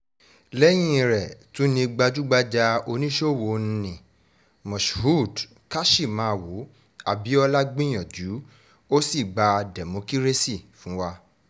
lẹ́yìn rẹ̀ tún ni gbajúgbajà oníṣòwò nni moshood käsiṣámàwo abiola gbìyànjú ó sì gbà dẹ́mọkírésì fún wa